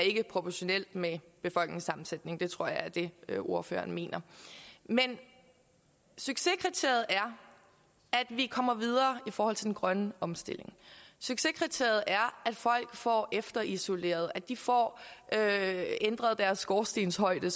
proportionelt med befolkningssammensætningen jeg tror det er det ordføreren mener men succeskriteriet er at vi kommer videre i forhold til den grønne omstilling succeskriteriet er at folk får efterisoleret at de får ændret deres skorstenshøjde